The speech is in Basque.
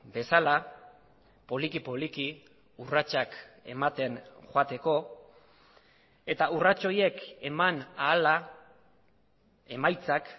bezala poliki poliki urratsak ematen joateko eta urrats horiek eman ahala emaitzak